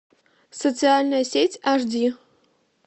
социальная сеть аш ди